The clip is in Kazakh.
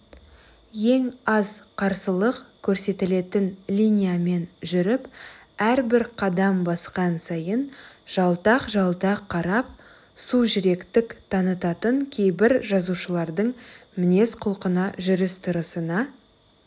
ең аз қарсылық көрсетілетін линиямен жүріп әрбір қадам басқан сайын жалтақ-жалтақ қарап сужүректік танытатын кейбір жазушылардың мінез-құлқына жүріс-тұрысына